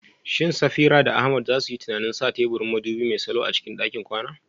Shin Safira da Ahmad za su yi tunanin sa teburin madubi mai salo a cikin ɗakin kwana?